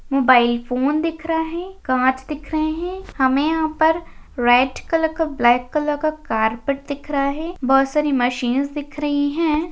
Mobile phone दिख रहा है कांच दिख रहे हैं हमें यहाँ पर रेड कलर का ब्लैक कलर का कारपेट दिख रहा है बहुत सारी मशीन्स दिख रही है।